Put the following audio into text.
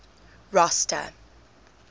rosta